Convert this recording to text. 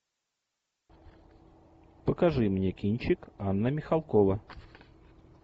покажи мне кинчик анна михалкова